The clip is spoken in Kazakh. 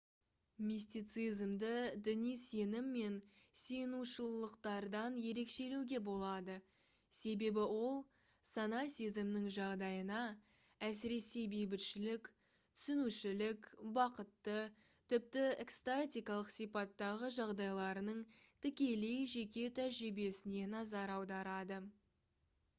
мистицизмді діни сенім мен сиынушылықтардан ерекшелеуге болады себебі ол сана-сезімнің жағдайына әсіресе бейбітшілік түсінушілік бақытты тіпті экстатикалық сипаттағы жағдайларының тікелей жеке тәжірибесіне назар аударады